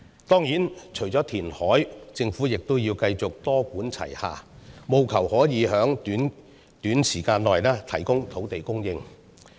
當然，除了填海，政府亦要繼續多管齊下，務求可以在短時間內提供土地。